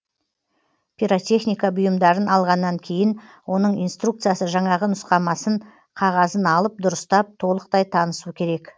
пиротехника бұйымдарын алғаннан кейін оның инструкциясы жаңағы нұсқамасын қағазын алып дұрыстап толықтай танысу керек